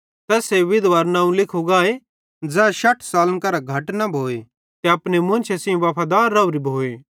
तैस्से विधवारू नवं लिखू गाए ज़ै शठ सालन करां घट न भोए ते अपने मुन्शे सेइं वफादार रावरी भोए